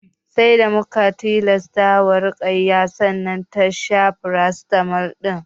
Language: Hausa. Sai da muka tilasta wa Ruƙayya sannan ta sha farasitamol ɗin